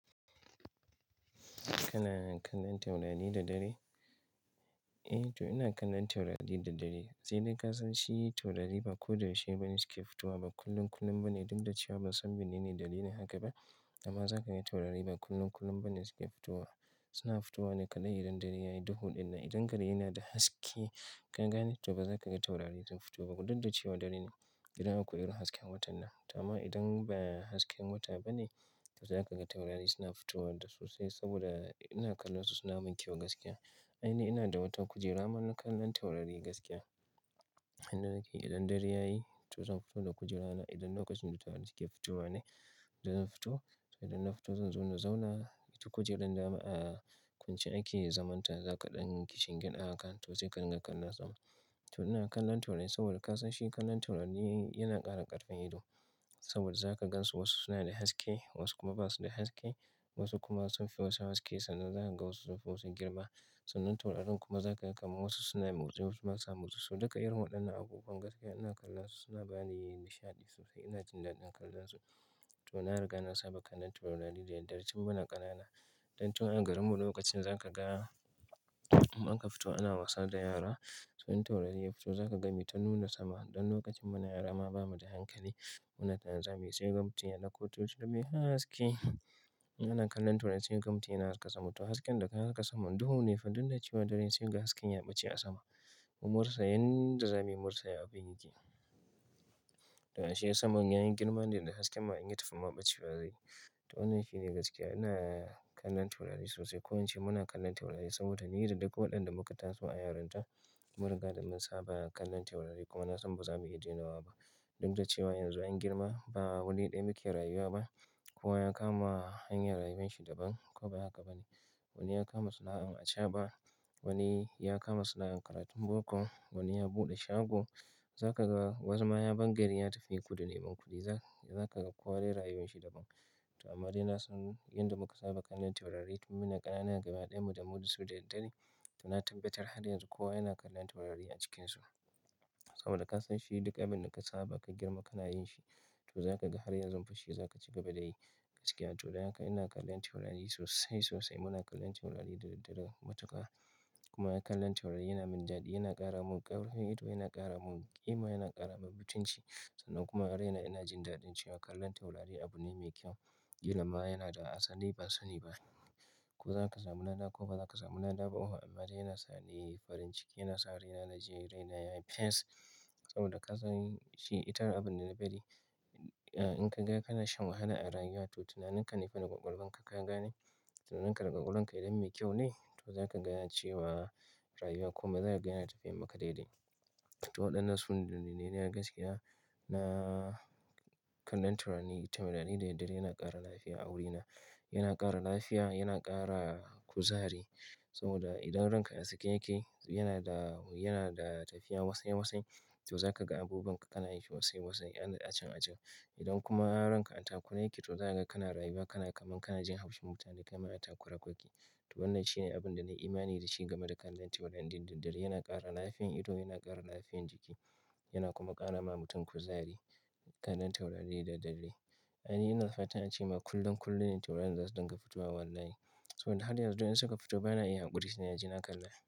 Kana kallon taurari da dare? Eh to ina kallon taurari da dare. Sai dai ka san shi taurari ba ko da yaushe ba ne suke fitowa, ba kullum kullum ba ne. Duk da cewa ban san menene dalilin haka ba, amma za ka ga taurari ba kullum kullum ba ne suke fitowa. Suna fitowa ne kaɗai idan gari yayi duhu ɗin nan. Idan gari yana da haske, ka gane to ba za ka ga taurari sun fito ba. Duk da cewa dare ne, idan akwai irin hasken watan nan. To amma idan ba hasken wata ba ne, to za ka ga taurari suna fitowa da sosai saboda ina kallon su suna mun kyau gaskiya. Aini ina da watan kujera mana kallon taurari gaskiya. Idan dare yayi to zan fito da kujera na. Idan na kwashen dutse suke fitowa ne, to zan fito. To idan na fito zan zo na zauna ita kujerar ma aa kwance ake da zaman ta, zaka ɗan kishingiɗa hakan to sai ka rika kallon sama. To ina kallon taurari saboda ka san shi kallon taurari yana ƙara ƙarfin ido. Saboda za ka gan su wasu suna da haske wasu kuma ba su da haske. Wasu kuma sun fi wasu haske sannan za ka ga wasu sun fi wasu girma. Sannan taurarin kuma za ka ga kamar wasu suna motsi wasu ba sa motsi. Duka dai waɗannan abubuwan gaskiya ina kallon su suna bani nishaɗi sosai. Ina jin daɗin kallon su. To na riga na saba kallon taurari da daddare tun muna ƙanana. Don tun a garin mu lokacin za ka ga in aka fito ana wasa da yara. To in taurari ya fito za ka ga mita nuna sama. Don lokacin muna yara ma ba mu da hankali. Muna tare zamuyi sai ga mutum yaɗauko tochila mai haske. Ina kallon taurari sai ga mutum yana haska sama. To hasken da ka haska saman duhu ne fa duk da cewa taurarin sai ga hasken ya ɓace a sama. Mu mun rasa abund zamuyi mun rasa ya abun yake. To ashe saman ya yi girma ne da hasken ma in yi tafiya ma ɓacewa zai yi. To wannan shi ne gaskiya. Ina kallon taurari sosai. Ko an ce muna kallon taurari saboda ni da duk waɗanda muka taso a yarinta, mun riga da mun saba kallon taurari kuma na san ba za mu iya daina wa ba. Duk da cewa yanzu an girma ba wani ɗaya muke rayuwa ba. Kowa ya kama hanyar rayuwar shi daban ko ba haka ba ne? Wani ya kama sana'an acaɓa, wani ya kama sana'an karatun boko, wani ya buɗe shago. Za ka ga wasu ma ya bar gari ya tafi kudu neman kuɗi. Za ka ga kowa rayuwar shi daban. To amma dai na san yadda muka saba kallon taurari tun muna ƙanana gaba ɗaya mu da su da dare. To na tabbatar har yanzu kowa yana kallon taurari a cikinsu. Saboda ka san shi duk abin da ka saba ka girma kana yin shi. To za ka ga har yanzu fa shi za ka ci gaba da yi gaskiya. To don haka ina kallon taurari sosai sosai. Muna kallon taurari da daddare matuƙa. Kuma kallon taurari yana min daɗi, yana ƙara mun ƙarfin ido, yana ƙara mun ƙima, yana ƙara mun mutunci. Sannan kuma har raina ina jin daɗin cewa kallon taurari abu ne mai kyau. Ƙilan ma yana da asali ba sani ba. Ko za ka samu lada ko ba za ka samu lada ba oho. Amma dai yana sa ni farin ciki yana sa raina na ji raina yayi peace. Saboda ka san shi ita har abun da na bari, in ka ga kana shan wahala a rayuwa to tunanin ka ne fa na ƙwaƙwalwar ka ka gane. Tunanin ka da ƙwaƙwalwar ka idan mai kyau ne to za ka ga cewa rayuwa kuma za ka gaya na tafiya maka daidai. To waɗannan su ne bayanai na gaskiya. Na kallon taurari tare daddare yana ƙara lafiya a wurina. Yana ƙara lafiya, yana ƙara kuzari. Saboda idan ranka a sake yake yana da, yana da tafiya wasai wasai. To za ka ga abubuwan ka kana yi wasai wasai 'yan acen acen. Idan kuma ranka a takure yake to za ka ga kana rayuwa kana kamar kana jin haushin mutane kamar a takure kake. To wannan shi ne abun da na yi imani da shi game da kallon taurari duk daddare. Yana ƙara lafiyan ido, yana ƙara lafiyan jiki yana kuma ƙara ma mutum kuzari kallon taurari da dare. Ai ni ina fata ace ma kullum kullum ne taurarin za su dinga fitowa wallahi. Saboda har yanzu idan suka fito ba na iya haƙuri suna jina kallon su.